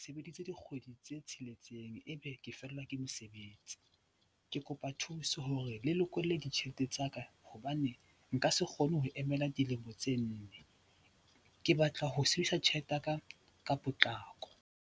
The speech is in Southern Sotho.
Sebeditse dikgwedi tse tsheletseng ebe ke fellwa ke mosebetsi. Ke kopa thuso hore le lokolle ditjhelete tsa ka hobane nka se kgone ho emela dilemo tse nne. Ke batla ho sebedisa tjhelete ya ka ka potlako.